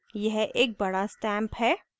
यह एक बड़ा stamp है